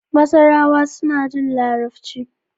Masarawa suna jin Larabci.